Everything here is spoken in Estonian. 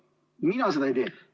Mina seda ei tee.